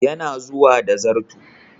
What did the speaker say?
Yana zuwa da zarto.